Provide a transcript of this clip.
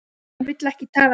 Hún vill ekki tala við þig!